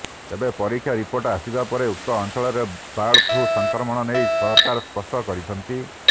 ତେବେ ପରୀକ୍ଷା ରିପୋର୍ଟ ଆସିବା ପରେ ଉକ୍ତ ଅଞ୍ଚଳରେ ବାର୍ଡ ଫ୍ଲୁ ସଂକ୍ରମଣ ନେଇ ସରକାର ସ୍ପଷ୍ଟ କରିଛନ୍ତି